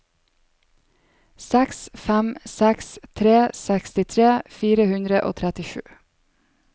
seks fem seks tre sekstitre fire hundre og trettisju